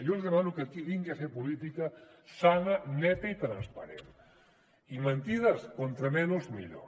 jo els demano que aquí vinguin a fer política sana neta i transparent i mentides com menys millor